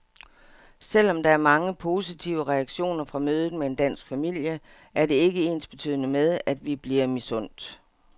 Selvom der er mange positive reaktioner fra mødet med en dansk familie, er det ikke ensbetydende med, at vi bliver misundt.